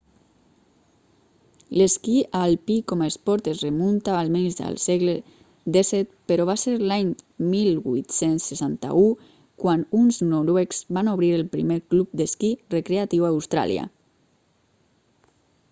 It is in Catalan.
l'esquí alpí com a esport es remunta almenys al segle xvii però va ser l'any 1861 quan uns noruecs van obrir el primer club d'esquí recreatiu a austràlia